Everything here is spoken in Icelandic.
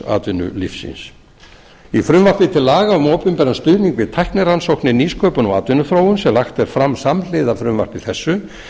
atvinnulífsins í frumvarpi til laga um opinberan stuðning við tæknirannsóknir nýsköpun og atvinnuþróun sem lagt er fram samhliða frumvarpi þessu